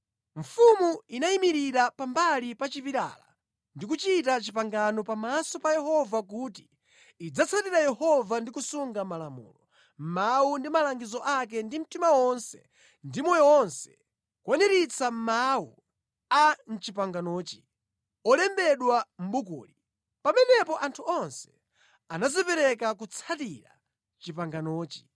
Mfumu inayimirira pambali pa chipilala ndi kuchita pangano pamaso pa Yehova kuti idzatsatira Yehova ndi kusunga malamulo, mawu ndi malangizo ake ndi mtima wonse ndi moyo wonse, kukwaniritsa mawu a mʼpanganoli, olembedwa mʼbukuli. Pamenepo anthu onse anadzipereka kutsatira panganoli.